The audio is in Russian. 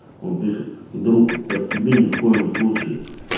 он пишет друг так тебе ни в коем случае